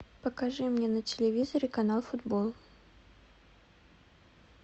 покажи мне на телевизоре канал футбол